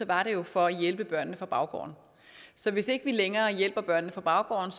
var det jo for at hjælpe børnene fra baggården så hvis ikke vi længere hjælper børnene fra baggården